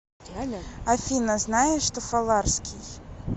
афина знаешь тофаларский